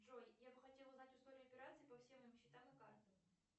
джой я бы хотела узнать историю операций по всем моим счетам и картам